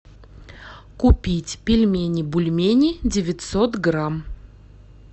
купить пельмени бульмени девятьсот грамм